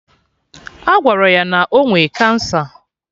Agwara ya na ọ nwe cancer